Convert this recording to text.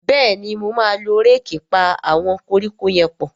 Béèni mọ má ló Réèkì pá àwọn koríko yén pọ.